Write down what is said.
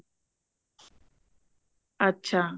ਅੱਛਾ